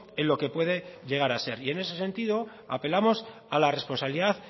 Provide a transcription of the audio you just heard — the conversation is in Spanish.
en lo que puede llegar a ser y en ese sentido apelamos a la responsabilidad